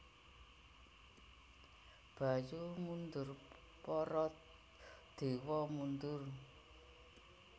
Bayu mundur Para dewa mundur